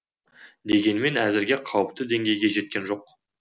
дегенмен әзірге қауіпті деңгейге жеткен жоқ